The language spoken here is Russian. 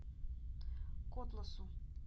котласу